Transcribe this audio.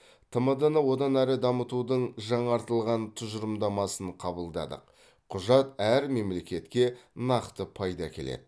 тмд ны одан әрі дамытудың жаңартылған тұжырымдамасын қабылдадық құжат әр мемлекетке нақты пайда әкеледі